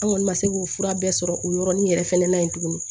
An kɔni ma se k'o fura bɛɛ sɔrɔ o yɔrɔnin yɛrɛ fɛnɛ na yen tuguni